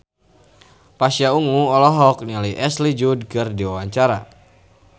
Pasha Ungu olohok ningali Ashley Judd keur diwawancara